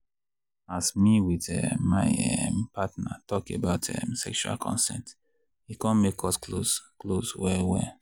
as me with um my um partner talk about um sexual consent e come make us close close well well.